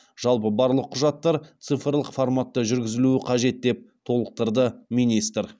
жалпы барлық құжаттар цифрлық форматта жүргізілуі қажет деп толықтырды министр